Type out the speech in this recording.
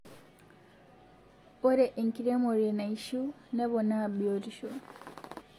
ore enkiremore naishiu nepona biotisho